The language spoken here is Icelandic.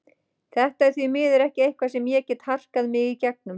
Þetta er því miður ekki eitthvað sem ég get harkað mig í gegnum.